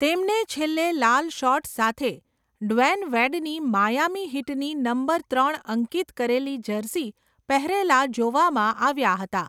તેમને છેલ્લે લાલ શોર્ટ્સ સાથે ડ્વેન વેડની માયામી હીટની નંબર ત્રણ અંકિત કરેલી જર્સી પહેરેલા જોવામાં આવ્યા હતા.